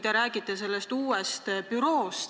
Te räägite sellest uuest büroost.